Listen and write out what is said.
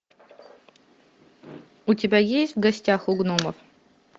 у тебя есть в гостях у гномов